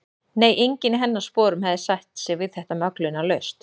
Nei, enginn í hennar sporum hefði sætt sig við þetta möglunarlaust.